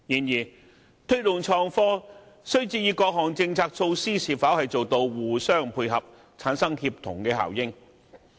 要推動創科，各項政策措施必須互相配合，產生協同效應。